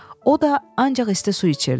O da ancaq isti su içirdi.